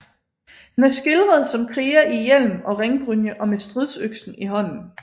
Han er skildret som kriger i hjelm og ringbrynje og med stridsøksen i hånden